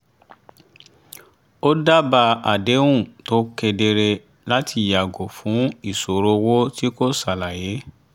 ó dábàá àdéhùn tó kedere láti yàgò fún ìṣòro owó tí kò ṣàlàyé